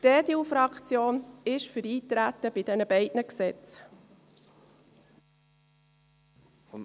Die EDU-Fraktion ist für das Eintreten auf diese beiden Gesetze.